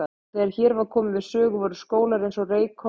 Og þegar hér var komið sögu voru skólar eins og Reykholt og